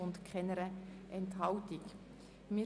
Sie haben dieser Planungserklärung zugestimmt.